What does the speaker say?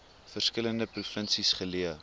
verskillende provinsies geleë